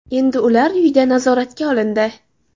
Endi ular uyida nazoratga olindi.